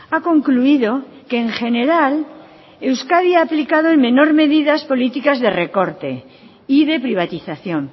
ha concluido que en general euskadi ha aplicado en menor medidas políticas de recorte y de privatización